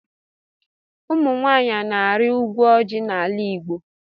Ụmụnwanyi ọna ari ukwu ọji na ala igbo.